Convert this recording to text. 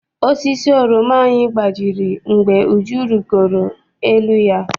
Osisi oroma anyị gbajiri mgbe Uju rigoro n'elu ya.